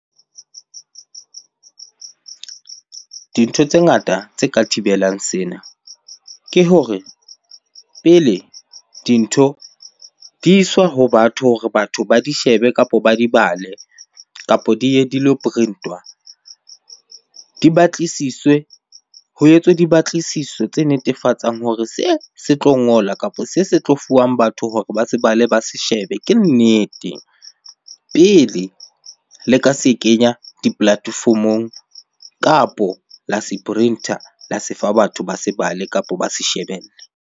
Dintho tse ngata tse ka thibelang sena, ke hore pele dintho di iswa ho batho hore batho ba di shebe kapo ba di bale, kapo di ye dilo print-wa. Di batlisiswe, ho etswe di batlisiso tse netefatsang hore se, se tlo ngola kapo se se tlo fuwang batho hore ba se bale, ba se shebe ke nnete. Pele le ka se kenya di-platform-ong kapo la se print-a, la se fa batho ba se bale, kapo ba se shebelle.